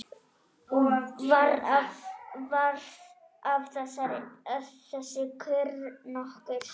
Varð af þessu kurr nokkur.